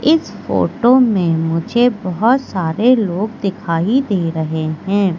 इस फोटो में मुझे बहुत सारे लोग दिखाई दे रहे हैं।